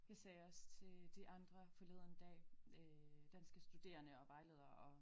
Jeg sagde også til de andre forleden dag øh danske studerende og vejledere og